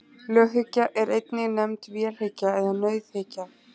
Löghyggja er einnig nefnd vélhyggja eða nauðhyggja.